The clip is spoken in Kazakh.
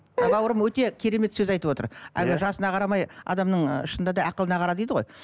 бауырым өте керемет сөз айтып отыр әлгі жасына қарамай адамның ы шынында да ақылына қара дейді ғой